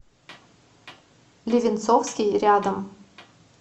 левенцовский рядом